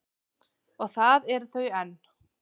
Og það eru þau enn.